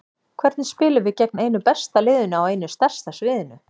Hvernig spilum við gegn einu besta liðinu á einu stærsta sviðinu?